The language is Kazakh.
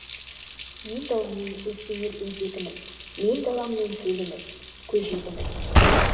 мен даламның өртенер өзегімін мен даламның төлімін көжегімін